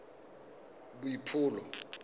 boipobolo